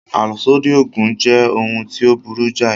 Àlòsódì Ògùn jẹ́ ohun tí ó burú jáì